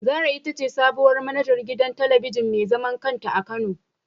Zara itace sabuwar manajar gidan talabijin mezaman kanta a kano